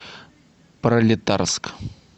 пролетарск